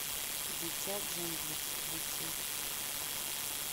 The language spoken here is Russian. дитя джунглей подключи